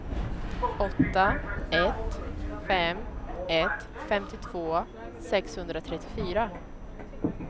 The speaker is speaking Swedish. åtta ett fem ett femtiotvå sexhundratrettiofyra